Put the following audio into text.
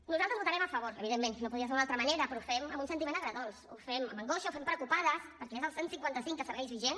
nosaltres hi votarem a favor evidentment no podria ser d’una altra manera però ho fem amb un sentiment agredolç ho fem amb angoixa ho fem preocupades perquè és el cent i cinquanta cinc que segueix vigent